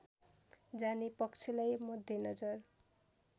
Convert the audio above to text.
जाने पक्षलाई मध्यनजर